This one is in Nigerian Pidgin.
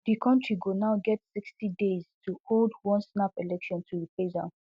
di country go now get sixty days to hold one snap election to replace am